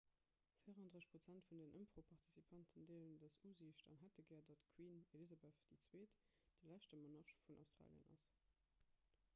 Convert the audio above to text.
34 prozent vun den ëmfroparticipanten deelen dës usiicht an hätte gär datt d'queen elizabeth ii de leschte monarch vun australien ass